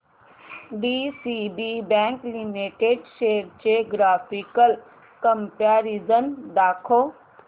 DCB bank limited shares चे graphical comparison दाखव